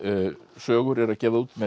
sögur eru að gefa það út